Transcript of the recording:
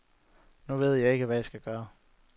Nu ved jeg ikke hvad jeg skal gøre.